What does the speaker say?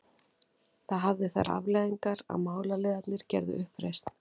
Það hafði þær afleiðingar að málaliðarnir gerðu uppreisn.